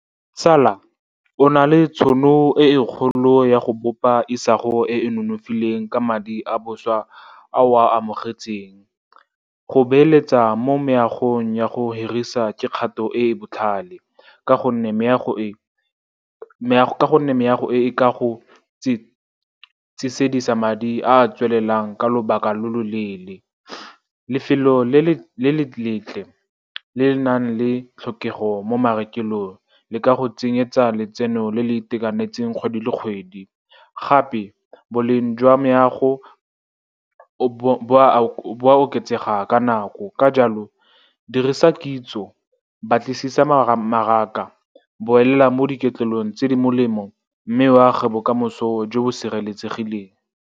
Tsala, o na le tšhono e e kgolo ya go bopa isago e e nonofileng ka madi a boswa a o a amogetsweng. Go beeletsa mo meagong ya go hirisa ke kgato e e botlhale, ka gonne meago e e ka go tsesedisa madi a a tswelelang ka lobaka lo lo leele. Lefelo le le letle le le nang le tlhokego mo marekelong le ka go tsenyetsa letseno le le itekanetseng kgwedi le kgwedi. Gape boleng jwa meago bo a oketsega ka nako. Ka jalo, dirisa kitso, batlisisa mmaraka, boela mo diketlolong tse di molemo, mme o age bokamoso jo bo sireletsegileng.